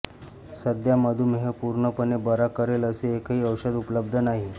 सध्या मधुमेह पूर्णपणे बरा करेल असे एकही औषध उपलब्ध नाही